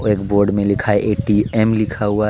एक बोर्ड में लिखा है ऐ_टी_एम लिखा हुआ है.